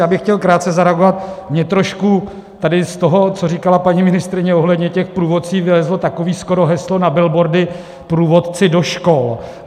Já bych chtěl krátce zareagovat, mně trošku tady z toho, co říkala paní ministryně ohledně těch průvodců, vylezlo takové skoro heslo na billboardy: Průvodci do škol!